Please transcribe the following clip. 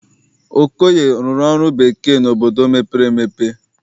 Okoye rụrụ ọrụ bekee n'obodo mepere emepe.